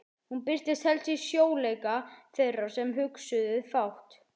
Hún birtist helst í sljóleika þeirra sem hugsuðu fátt.